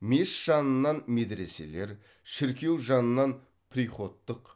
мешіт жанынан медреселер шіркеу жанынан приходтық